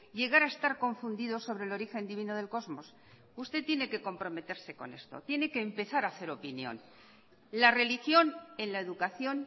llegar a estar confundidos sobre el origen divino del cosmos usted tiene que comprometerse con esto tiene que empezar a hacer opinión la religión en la educación